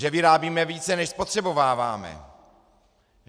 Že vyrábíme více, než spotřebováváme.